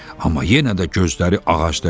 Amma yenə də gözləri ağacda idi.